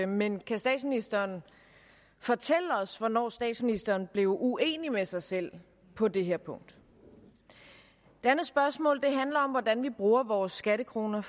men kan statsministeren fortælle os hvornår statsministeren blev uenig med sig selv på det her punkt det andet spørgsmål handler om hvordan vi bruger vores skattekroner